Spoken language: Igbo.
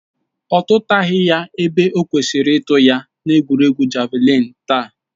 Ọ tụtaghi ya ebe o kwesịrị ịtụ ya na egwuregwu javalịn taa